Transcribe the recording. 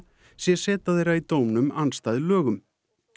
sé seta þeirra í dómnum andstæð lögum